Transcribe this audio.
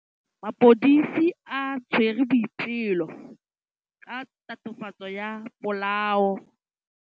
Maphodisa a tshwere Boipelo ka tatofatsô ya polaô.